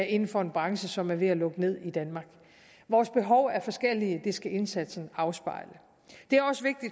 inden for en branche som er ved at lukke ned i danmark vores behov er forskellige og det skal indsatsen afspejle jeg